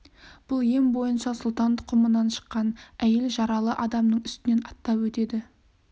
бұл ем бойынша сұлтан тұқымынан шыққан әйел жаралы адамның үстінен аттап өтеді